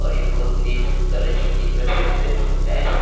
और ये पूरा क्रीम कलर की थीम पे से है।